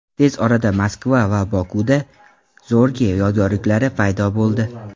Tez orada Moskva va Bokuda Zorge yodgorliklari paydo bo‘ldi.